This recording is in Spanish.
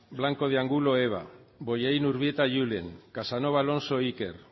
blanco de angulo eva bollain urbieta julen casanova alonso iker